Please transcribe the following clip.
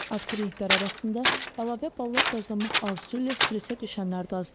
Abituriyentlər arasında əlavə ballar qazanmaq arzusu ilə stressə düşənlər də az deyil.